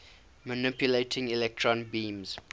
manipulating electron beams